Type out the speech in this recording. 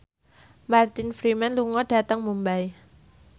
Martin Freeman lunga dhateng Mumbai